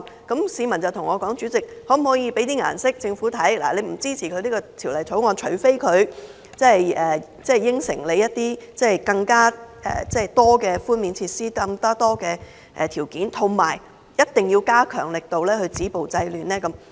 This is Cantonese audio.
有市民對我說，可否向政府施以顏色，我們不支持《條例草案》，除非政府答應推出更多寬免措施和條件，同時加強力度止暴制亂？